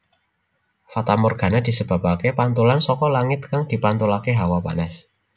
Fatamorgana disebabaké pantulan saka langit kang dipantulaké hawa panas